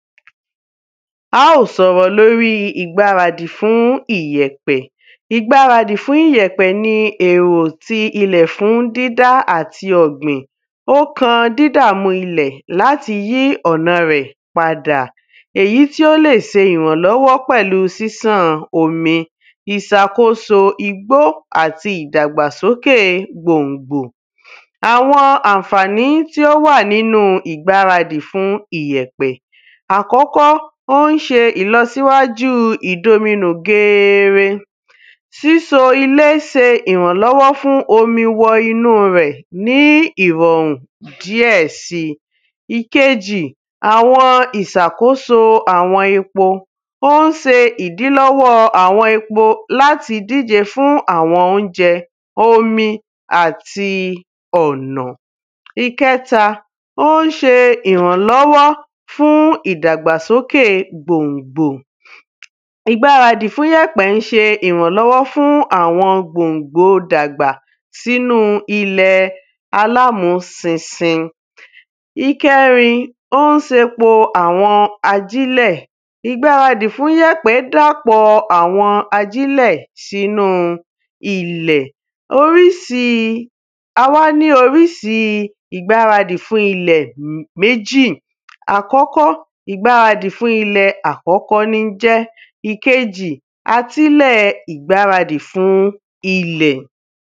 Á ó s'ọ̀rọ̀ l'órí ìgbáradì fún ìyẹ̀pẹ̀ Ìgbáradì fún ìyẹ̀pẹ̀ ni èrò ti ilẹ̀ fún dídá àti ọ̀gbìn Ọ́kan dídàmu ilẹ̀ l'átí yí ọ̀na rẹ̀ padà. Èyí tí ó lè se ìrànlọ́wọ́ pẹ̀lú sísàn omi ìsakóso igbó àti ìdàgbàsókè gbòngbò. Awọn ànfàni tí ó wà n'ínu ìgbáradì fún ìyẹ̀pẹ̀ Àkọ́kọ́, ó ń ṣe ìlọsíwájú ìdominù geere. Síso ilé se ìrànlọ́wọ́ fún omi wọ inú rẹ̀ ní ìrọ̀rùn díẹ̀ si. Ìkeji, àwọn ìsakóso àwọn epo Ó ń se ìdílọ́wọ́ àwọn epo l'áti díje fún àwọn óunjẹ omi àti ọ̀nà. Ìkẹ́ta, ó ń ṣe ìrànlọ́wọ́ fún ìdàgbàsókè gbòngbò Ìgbáradì fún 'yẹ̀pẹ̀ ń ṣe ìrànlọ́wọ́ fún àwọn gbòngbò 'dàgbàsókè s'ínú ilẹ̀ s'ínú ilẹ̀ alámúsinsin. Ìkẹrin, ó ń se ‘po àwọn ajílẹ̀. Ìgbáradì fún 'yẹ̀pẹ̀ dàpọ̀ àwọn ajílẹ̀ s'ínú ilẹ̀ A wá ní orísi ìgbáradì fún ilẹ̀ méjì. Àkọ́kọ́, ìgbáradì fún ilẹ̀ ní ń jẹ́. Ìkeji, atílẹ̀ ìgbáradì fún ilẹ̀.